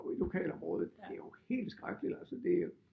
I lokalområdet det jo helt skrækkeligt altså det